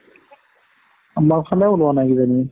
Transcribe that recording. আমাৰ ফালে উলোৱানাই কিজানি